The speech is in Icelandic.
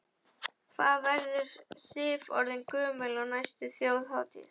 Hvað verður Sif orðin gömul á næstu Þjóðhátíð?